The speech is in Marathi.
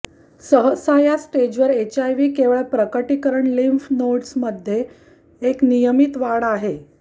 सहसा या स्टेजवर एचआयव्ही केवळ प्रकटीकरण लिम्फ नोड्स मध्ये एक नियमित वाढ आहे